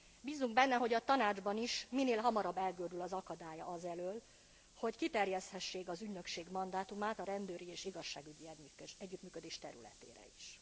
Bízzunk benne, hogy a Tanácsban is minél hamarabb elgördül az akadály az elől, hogy kiterjeszthessék az ügynökség mandátumát a rendőri és igazságügyi együttműködés területére is.